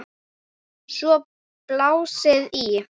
Svo var blásið í.